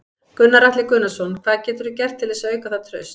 Gunnar Atli Gunnarsson: Hvað geturðu gert til þess að auka það traust?